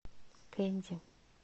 кенди